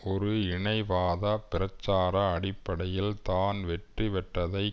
ஒரு இனவாத பிரச்சார அடிப்படையில் தான் வெற்றி பெற்றதை